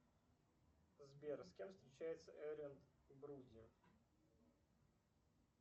сбер с кем встречается эдриан броуди